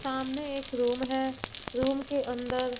सामने एक रूम है रूम के अंदर--